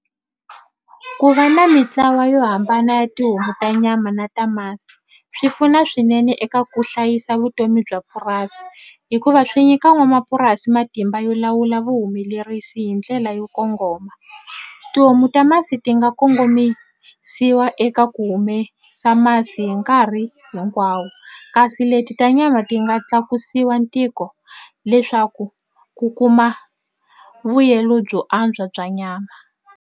Ku va na mitlawa yo hambana ya tihomu ta nyama na ta masi swi pfuna swinene eka ku hlayisa vutomi bya purasi hikuva swi nyika n'wamapurasi matimba yo lawula vuhumelerisi hi ndlela yo kongoma tihomu ta masi ti nga kongomisiwa eka ku humesa masi hi nkarhi hinkwawo kasi leti ta nyama ti nga tlakusiwa ntiko leswaku ku kuma vuyelo byo antswa bya nyama.